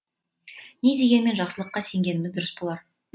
не дегенмен жақсылыққа сенгеніміз дұрыс болар